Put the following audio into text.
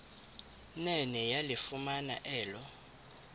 nene yalifumana elo